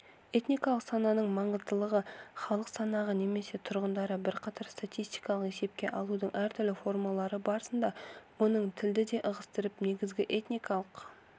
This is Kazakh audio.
этникалық сананың маңыздылығы халық санағы немесе тұрғындарды бұқаралық статистикалық есепке алудың әртүрлі формалары барысында оның тілді де ығыстырып негізгі этникалық